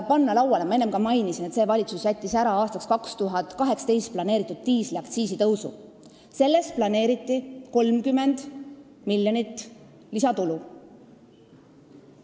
Ma enne mainisin, et see valitsus jättis ära aastaks 2018 planeeritud diisliaktsiisi tõusu, millest oli planeeritud üle 30 miljoni euro lisatulu.